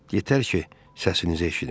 Yetər ki, səsinizi eşidim.